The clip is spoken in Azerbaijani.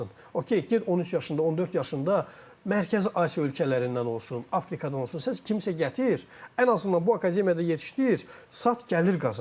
Okey, get 13 yaşında, 14 yaşında Mərkəzi Asiya ölkələrindən olsun, Afrikadan olsun, sən kimsə gətir, ən azından bu akademiyada yetişdir, sat gəlir qazan.